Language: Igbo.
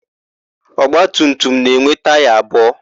Ọgbatumtum na-enwe taya abụọ.